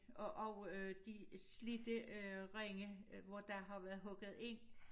Og og øh de slidte øh ringe øh hvor der har været hugget ind